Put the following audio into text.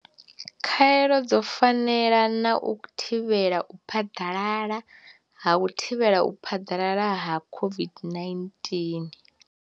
Khaelo dzo fanela na kha u thivhela u phaḓalala ha u thivhela u phaḓalala ha COVID-19.